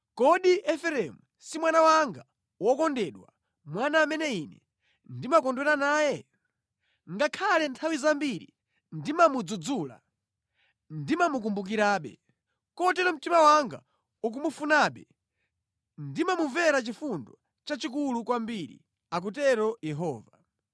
Kodi Efereimu si mwana wanga wokondedwa, mwana amene Ine ndimakondwera naye? Ngakhale nthawi zambiri ndimamudzudzula, ndimamukumbukirabe. Kotero mtima wanga ukumufunabe; ndimamumvera chifundo chachikulu kwambiri,” akutero Yehova.